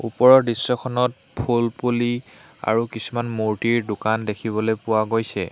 ওপৰৰ দৃশ্যখনত ফুলপুলি আৰু কিছুমান মূৰ্তিৰ দোকান দেখিবলৈ পোৱা গৈছে।